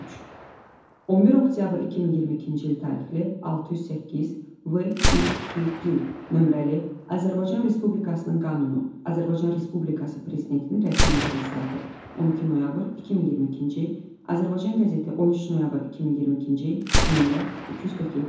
Üç. 11 oktyabr 2022-ci il tarixli, 608, VİQD nömrəli Azərbaycan Respublikasının qanunu, Azərbaycan Respublikası Prezidentinin rəsmi internet saytı, 12 noyabr 2022-ci il, Azərbaycan qəzeti, 13 noyabr 2022-ci il, nömrə 247.